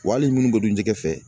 Wa hali minnu bɛ don jɛgɛ fɛ